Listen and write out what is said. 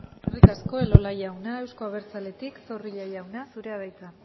eskerrik asko elola jauna euzko abertzaletik zorrilla jauna zurea da hitza